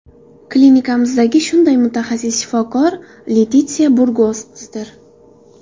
Klinikamizdagi shunday mutaxassis –shifokor Letitsiya Burgosdir.